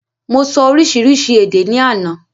Mo sọ oríṣiríṣi èdè ni àná